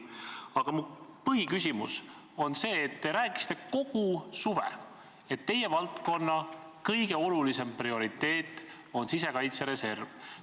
Aga mu põhiküsimus on selle kohta, et te rääkisite kogu suve, et teie valdkonna kõige olulisem prioriteet on sisekaitsereserv.